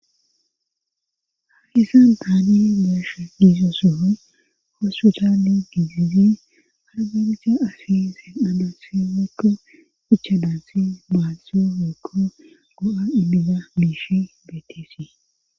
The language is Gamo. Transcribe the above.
Haagisan taani geeshe giizo soon kosu caali gidizi aragerisha afi sen'ana siwikko ichadantsi maasso wekko go'a ibida miishi beetisii.